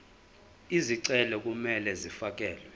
izicelo kumele zifakelwe